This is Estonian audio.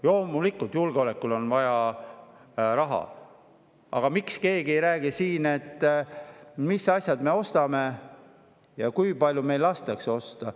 Loomulikult, julgeolekule on vaja raha, aga miks keegi ei räägi siin, mis asjad me ostame ja kui palju meil lastakse osta?